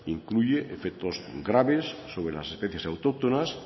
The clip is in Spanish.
incluye efectos graves sobre las especies autóctonas